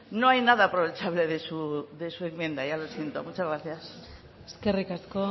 no hay nada aprovechable de su enmienda ya lo siento muchas gracias eskerrik asko